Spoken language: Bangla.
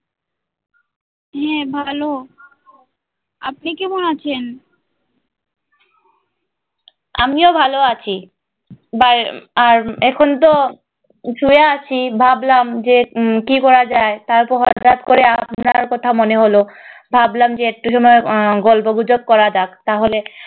আমিও ভালো আছি, আর এখন তো শুয়ে আছি ভাবলাম যে উম কি করা যাই তারপর হটাৎ করে আপনার কথা মনে হলো ভাবলাম যে একটু সময় আহ গল্প গুজব করা যাক তাহলে